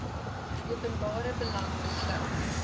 openbare belang besluit